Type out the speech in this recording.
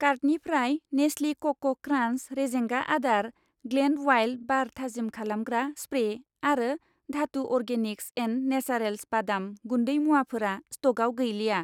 कार्टनिफ्राय नेस्लि कक' क्रान्स रेजेंगा आदार, ग्लेड उवाइल्द बार थाजिम खालामग्रा स्प्रे आरो धातु अर्गेनिक्स एन्ड नेचारेल्स बादाम गुन्दै मुवाफोरा स्टकआव गैलिया।